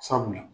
Sabula